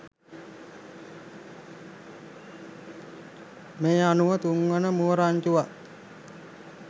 මේ අනුව තුන්වන මුව රංචුවත්